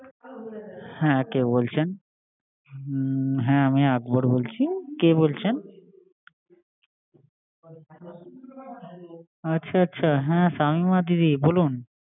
হুম হ্যা আমি আকবর বলছি, কে বলছেন, দাদা আমি শামিমা বলছি, ও আচ্ছা আচ্ছা হ্যা শামিমা দিদি বলুন